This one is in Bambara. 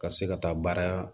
Ka se ka taa baara